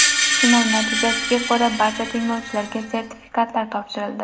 Sinov natijasiga ko‘ra barcha tinglovchilarga sertifikatlar topshirildi.